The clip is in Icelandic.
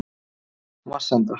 Vatnsenda